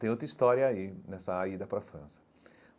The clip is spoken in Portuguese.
Tem outra história aí, nessa ida para a França.